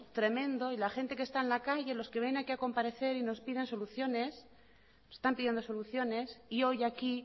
tremendo y la gente que está en la calle lo que vienen aquí a comparecer y nos piden soluciones nos están pidiendo soluciones y hoy aquí